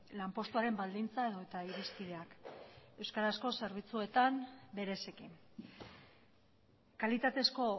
lanpostuaren baldintza edota irizpideak euskarazko zerbitzuetan bereziki kalitatezko